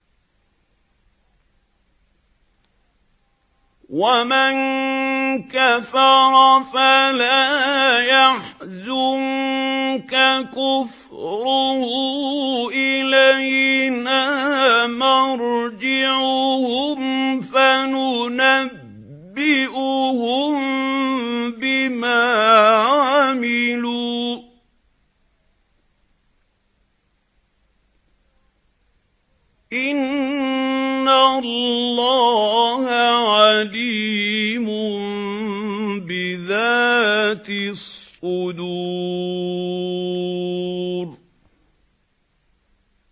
وَمَن كَفَرَ فَلَا يَحْزُنكَ كُفْرُهُ ۚ إِلَيْنَا مَرْجِعُهُمْ فَنُنَبِّئُهُم بِمَا عَمِلُوا ۚ إِنَّ اللَّهَ عَلِيمٌ بِذَاتِ الصُّدُورِ